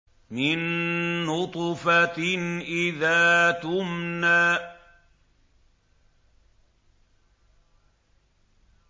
مِن نُّطْفَةٍ إِذَا تُمْنَىٰ